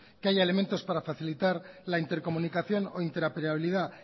que haya elementos para facilitar la intercomunicación o interoperabilidad